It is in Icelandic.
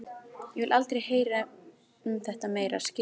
Ég vil aldrei heyra um þetta meira, skilurðu það?